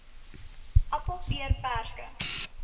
appel peer perske